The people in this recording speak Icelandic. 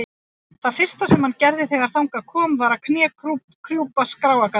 Það fyrsta sem hann gerði þegar þangað kom var að knékrjúpa skráargatinu.